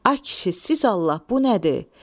Ay kişi, siz Allah, bu nədir?